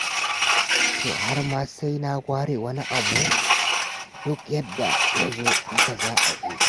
To har ma sai na ware wani abu? Duk yadda ya zo haka za a yi.